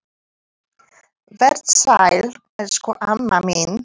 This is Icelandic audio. Vert sæl, elsku amma mín.